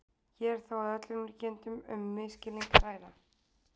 Hér er þó að öllum líkindum um misskilning að ræða.